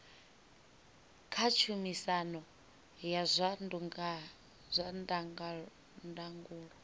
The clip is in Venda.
kha tshumisano ya zwa ndangulo